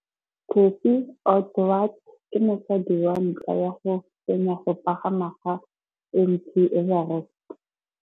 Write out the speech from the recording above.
Cathy Odowd ke mosadi wa ntlha wa go fenya go pagama ga Mt Everest.